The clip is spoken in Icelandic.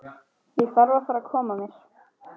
Ég þarf að fara að koma mér.